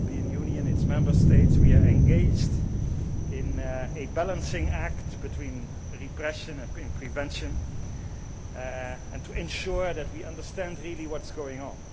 The European Union, its Member States, we are engaged in a balancing act between repression and prevention and to ensure that we understand really what is going on.